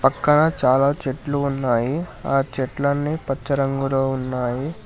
ఇక్కడ చాలా చెట్లు ఉన్నాయి ఆ చెట్లన్నీ పచ్చ రంగులో ఉన్నాయి.